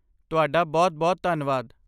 ਤੁਹਾਡਾ ਬਹੁਤ ਬਹੁਤ ਧੰਨਵਾਦ।